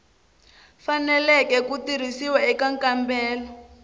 faneleke ku tirhisiwa eka nkambelo